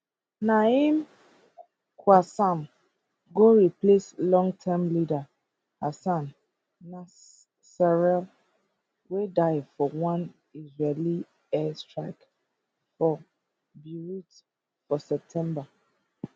naim qassem go replace longterm leader hassan nasrallah wey die for one israeli air strike for beirut for september